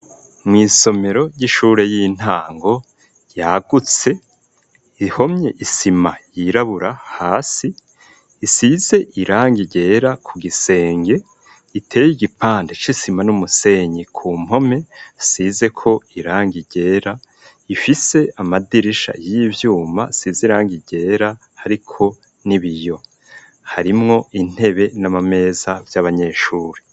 Mw'isomero ry'ishure y'intango yagutse ihomye isima yirabura hasi isize iranga igera ku gisenge iteye igipante c'isima n'umusenyi ku mpome size ko iranga igera ifise amadirisha y'ivyuma siziranga igera, ariko ni biyo harimwo intebe n'amameza vy'abanyeshuri.